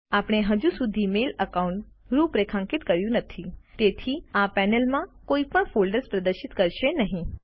આપણે હજુ સુધી મેઇલ એકાઉન્ટ રૂપરેખાંકિત કર્યું નથી તેથી આ પેનલ હમણાં કોઇ પણ ફોલ્ડર્સ પ્રદર્શિત કરશે નહિં